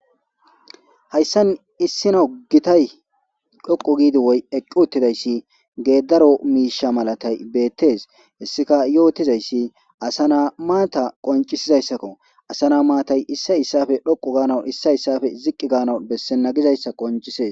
hayssan issina ogitay dhoqo giidi woy eqqi uttidayssi geeddaro miisha malatay beettees hessika yootizayssi asana maata qoncisizayssakko asana maatay issay issafe dhoqu gaanawu issa issafe ziqqi gaana bessena gizayssa qoncisees